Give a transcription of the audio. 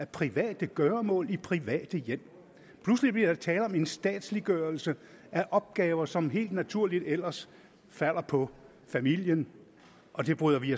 private gøremål i private hjem pludselig bliver der tale om en statsliggørelse af opgaver som helt naturligt ellers falder på familien og det bryder vi